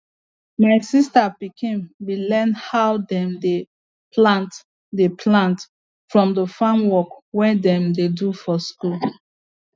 my sister pikin be learn how dem dey plant dey plant from the farm work wey dem dey do for school